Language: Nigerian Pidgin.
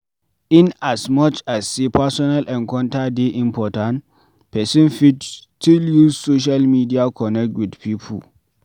In as much as sey personal encounter dey important, person fit still use social media connect with pipo